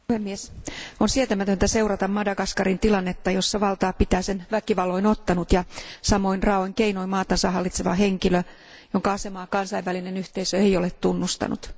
Arvoisa puhemies, on sietämätöntä seurata Madagaskarin tilannetta, jossa valtaa pitää sen väkivalloin ottanut ja samoin raaoin keinoin maatansa hallitseva henkilö, jonka asemaa kansainvälinen yhteisö ei ole tunnustanut.